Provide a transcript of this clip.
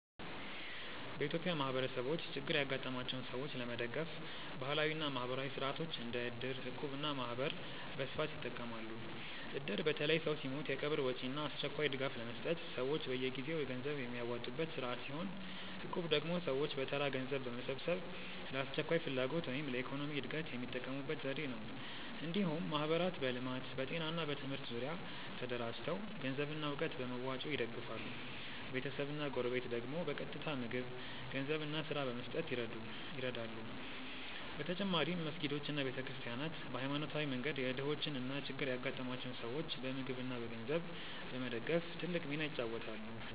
በኢትዮጵያ ማህበረሰቦች ችግር ያጋጠማቸውን ሰዎች ለመደገፍ ባህላዊ እና ማህበራዊ ሥርዓቶች እንደ እድር፣ እቁብ እና ማህበር በስፋት ይጠቀማሉ። እድር በተለይ ሰው ሲሞት የቀብር ወጪ እና አስቸኳይ ድጋፍ ለመስጠት ሰዎች በየጊዜው ገንዘብ የሚያዋጡበት ስርዓት ሲሆን፣ እቁብ ደግሞ ሰዎች በተራ ገንዘብ በመሰብሰብ ለአስቸኳይ ፍላጎት ወይም ለኢኮኖሚ እድገት የሚጠቀሙበት ዘዴ ነው። እንዲሁም ማህበራት በልማት፣ በጤና ወይም በትምህርት ዙሪያ ተደራጅተው ገንዘብና እውቀት በመዋጮ ይደግፋሉ፤ ቤተሰብና ጎረቤት ደግሞ በቀጥታ ምግብ፣ ገንዘብ እና ስራ በመስጠት ይረዱ። በተጨማሪም መስጊዶች እና ቤተ ክርስቲያናት በሃይማኖታዊ መንገድ የድሆችን እና ችግር ያጋጠማቸውን ሰዎች በምግብ እና በገንዘብ በመደገፍ ትልቅ ሚና ይጫወታሉ።